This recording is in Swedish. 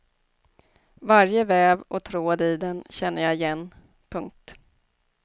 Varje väv och tråd i den känner jag igen. punkt